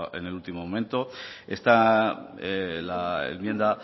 en el último momento esta enmienda